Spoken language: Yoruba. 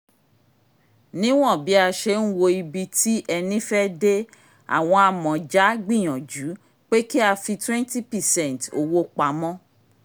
níwọ̀n bí a ṣe n wo ibi tí ẹni fẹ́ dé àwọn amọ̀ja gbìyànjú pé ká fi twenty percent owó pamọ́